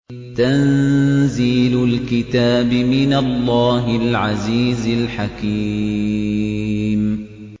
تَنزِيلُ الْكِتَابِ مِنَ اللَّهِ الْعَزِيزِ الْحَكِيمِ